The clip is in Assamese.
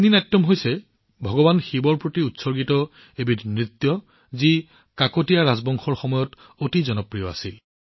কাকতীয়া ৰাজবংশৰ সময়ত ভগৱান শিৱক উৎসৰ্গিত এক নৃত্য পেৰিনি নাটিয়াম যথেষ্ট জনপ্ৰিয় আছিল